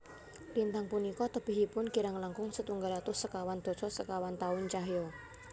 Lintang punika tebihipun kirang langkung setunggal atus sekawan dasa sekawan taun cahya